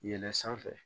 Yɛlɛn sanfɛ